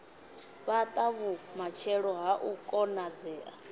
fhata vhumatshelo ha u konadzea